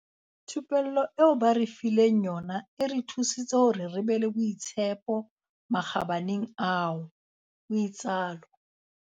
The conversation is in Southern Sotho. Thupello eo ba re fileng yona e re thusitse hore re be le boitshepo makgabaneng ao," o itsalo.